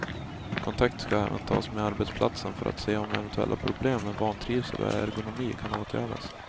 Kontakt ska även tas med arbetsplatsen för att se om eventuella problem med vantrivsel och ergonomi kan åtgärdas.